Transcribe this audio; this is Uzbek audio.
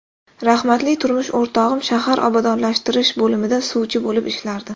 Rahmatli turmush o‘rtog‘im shahar obodonlashtirish bo‘limida suvchi bo‘lib ishlardi.